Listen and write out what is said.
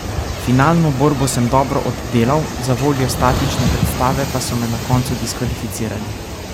Finalno borbo sem dobro oddelal, zavoljo statične predstave pa so me na koncu diskvalificirali.